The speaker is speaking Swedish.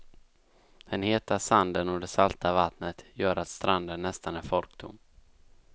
Den heta sanden och det salta vattnet gör att stranden nästan är folktom.